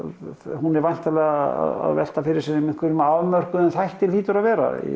hún er væntanlega að velta fyrir sér einhverjum afmörkuðum þætti hlýtur að vera